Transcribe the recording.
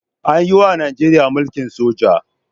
An yiwa Najeriya mulkin soja.